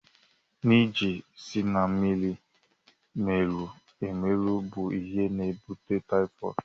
Njé si na mmiri merụrụ emerụ bụ ihe na-ebute taịfọd.